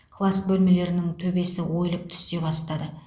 класс бөлмелерінің төбесі ойылып түсе бастады